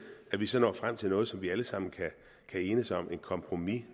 at vi så når frem til noget som vi alle sammen kan enes om et kompromis